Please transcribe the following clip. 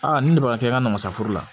Aa nin de b'a kɛ an ka na masaforo la